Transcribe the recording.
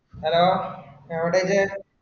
Hello എവിടയില്ലേ